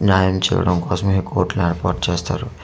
న్యాయం చేయడం కోసమే ఈ కోర్టుని ఏర్పాటు చేస్తారు.